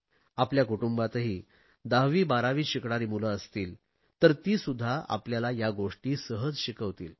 आपल्या कुटुंबातही 10वी12वीत शिकणारी मुले असतील तर ती सुध्दा आपल्याला या गोष्टी सहज शिकवतील